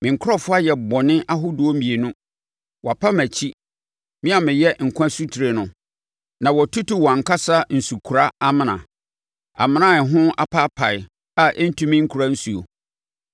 “Me nkurɔfoɔ ayɛ bɔne ahodoɔ mmienu: Wɔapa mʼakyi, me a meyɛ nkwa asutire no, na wɔatutu wɔn ankasa nsukora amena, amena a ɛho apaapae a ɛntumi nkora nsuo.